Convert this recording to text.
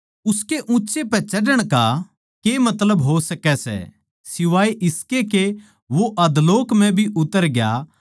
उसकै ऊँच्चै पे चढ़ण का के मतलब हो सकै सै सिवाए इसके के वो अधोलोक म्ह भी उतर ग्या